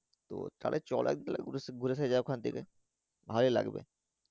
তো তাহলে চল এক বেলা ঘুড়ে আসা যাক ওখান থেকে ভালোই লাগবে।